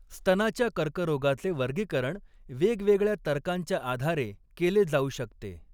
स्तनाच्या कर्करोगाचे वर्गीकरण वेगवेगळ्या तर्कांच्या आधारे केले जाऊ शकते.